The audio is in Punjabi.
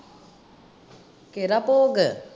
ਕਿਹੜਾ ਭੋਗ?